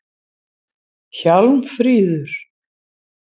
Hjálmfríður